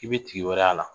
I bɛ tigi wɛrɛ y'a la